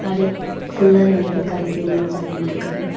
கடைக் குள்ள ரெண்டு பேர் கடைக்கு வெளிய ஒருத்தர் நின்னுட்டுருக்காரு.